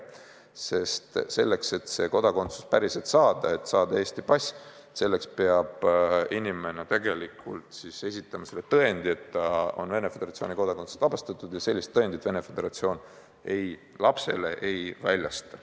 Sest selleks, et Eesti kodakondsus päriselt saada – et saada Eesti pass –, peab inimene esitama tõendi, et ta on Venemaa Föderatsiooni kodakondsusest vabastatud, aga sellist tõendit Venemaa Föderatsioon lapsele ei väljasta.